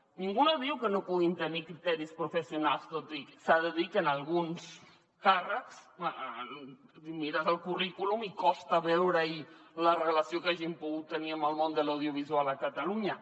ningú no diu que no puguin tenir criteris professionals tot i que s’ha de dir que en alguns càrrecs et mires el currículum i costa veure hi la relació que hagin pogut tenir amb el món de l’audiovisual a catalunya